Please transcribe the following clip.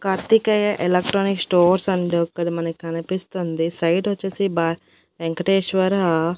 Karthikeya electronic stores and అక్కడ మనకనిపిస్తుంది side వచ్చేసి బా వెంకటేశ్వరా----